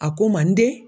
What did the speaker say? A ko manden